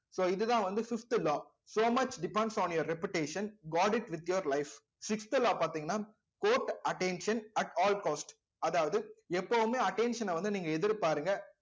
so இதுதான் வந்து fifth law so much depends on your reputation god it with your life sixth law பார்த்தீங்கன்னா court attention at all cost அதாவது எப்பவுமே attention அ வந்து நீங்க எதிர்பாருங்க